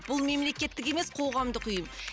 бұл мемелкеттік емес қоғамдық ұйым